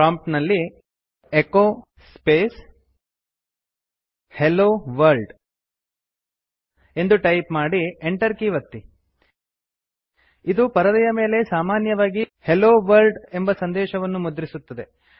prompt ನಲ್ಲಿ echo space hello world ಎಂದು type ಮಾಡಿ ಎಂಟರ್ ಕೀ ಒತ್ತಿ ಇದು ಪರದೆಯ ಮೇಲೆ ಸಾಮನ್ಯವಾಗಿ ಹೆಲ್ಲೊ ವರ್ಲ್ಡ್ ಎಂಬ ಸಂದೇಶವನ್ನು ಮುದ್ರಿಸುತ್ತದೆ